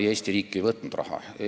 Ei, Eesti riik ei võtnud raha ära.